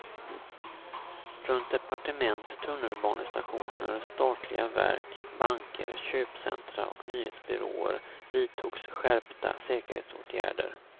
Runt departement, tunnelbanestationer, statliga verk, banker, köpcentra och nyhetsbyråer vidtogs skärpta säkerhetsåtgärder.